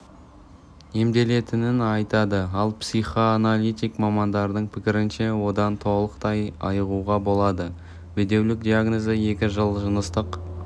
емделетінін айтады ал психоаналитик мамандардың пікірінше одан толықтай айығуға болады бедеулік диагнозы екі жыл жыныстық